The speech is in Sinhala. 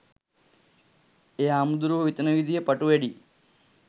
එ හාමුදුරුවො හිතන විදිහ ප‍ටු වැඩි